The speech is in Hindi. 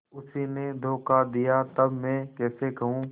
उसी ने धोखा दिया तब मैं कैसे कहूँ